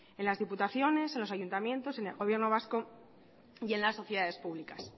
en los ayuntamientos en las diputaciones en el gobierno vasco y en las sociedades públicas